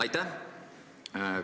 Aitäh!